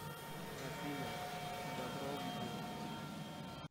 афина дабро видео